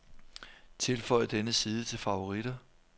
Tilføj denne side til favoritter.